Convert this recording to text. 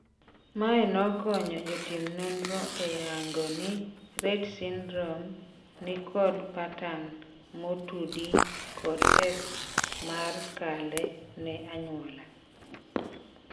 Mae nokonyo jotim nonro eyango ni Rett syndrome nikod patan motudi kod X mar kale ne anyuola.